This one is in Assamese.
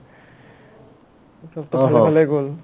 চবটো ভালে ভালেই গ'ল